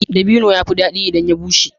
Dabino ya fi daɗi idan ya bushe